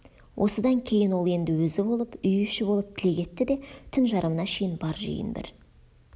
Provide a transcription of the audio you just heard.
осыдан кейін ол енді өзі болып үй іші болып тілек етті де түн жарымына шейін бар жиын бір